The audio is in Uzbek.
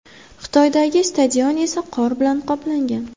Xitoydagi stadion esa qor bilan qoplangan.